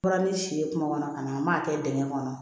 Bɔra ni si ye kuma kɔnɔ ka na an m'a kɛ dingɛ kɔnɔ